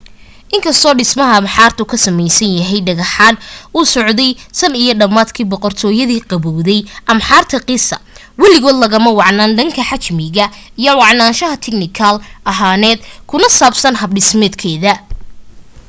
inkastoo dhismaha ahraamta ka samaysan dhagxaantu uu socday tan iyo dhamaadkii boqortooyadii gabawday ahraamta giza waligood lagama wacnaan dhanka xajmiga iyo wacnaansha tignikaal ahaaneed kuna saabsan hab dhismeedkeeda